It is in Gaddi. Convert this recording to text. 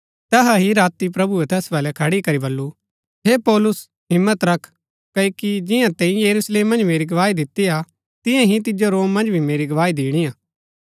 तैहा ही राती प्रभुऐ तैस वलै खड़ी करी बल्लू हे पौलुस हिम्मत रख क्ओकि जिंआं तैंई यरूशलेम मन्ज मेरी गवाही दितिआ तियां ही तिजो रोम मन्ज भी मेरी गवाही दिणिआ